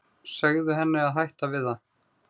Segðu henni að hætta við það.